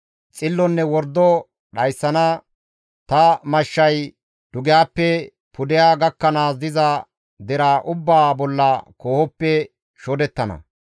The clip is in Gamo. Xillonne wordo dhayssana ta mashshay dugehappe pudeha gakkanaas diza deraa ubbaa bolla koohoppe shodettana.